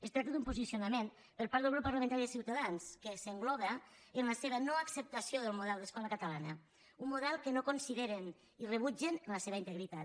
es tracta d’un posicionament per part del grup parlamentari de ciutadans que s’engloba en la seva noacceptació del model d’escola catalana un model que no consideren i rebutgen en la seva integritat